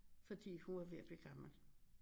Fordi hun var ved at blive gammel